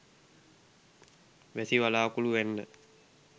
වැසි වළාකුළු වැන්න.